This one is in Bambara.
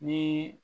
Ni